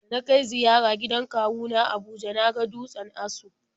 Da na kai ziyara gidan kawu na a Abuja na ga dutsen Aso.